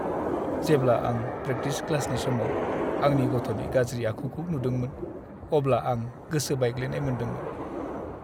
जेब्ला आं प्रेकटिस क्लासनि समाव आंनि गथ'नि गाज्रि आखुखौ नुदोंमोन अब्ला आं गोसो बायग्लिनाय मोनदोंमोन।